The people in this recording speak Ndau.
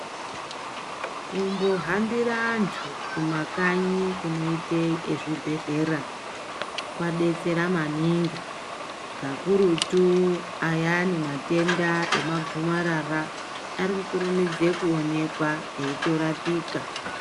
Kumbohambira antu kumakanyi kunoite ezvibhedhlera, kwadetsera maningi, kakurutu ayani matenda emagomarara, ari kukurumidze kuonekwa eitorapika.